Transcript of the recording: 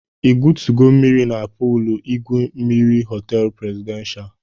I gwotugo mmiri na puulu igwu mmiri họteelụ prezidenshal?